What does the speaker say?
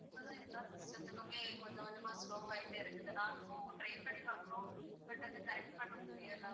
இப்போதான் எல்லாம் system த்துக்குமே கொஞ்ச கொஞ்சமா slow ஆகிட்டே இருக்குது நாங்களும் try பண்ணி பார்க்குறோம் but அதை correct பண்ண முடியலை.